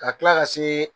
Ka tila ka se